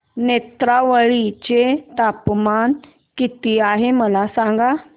नेत्रावळी चे तापमान किती आहे मला सांगा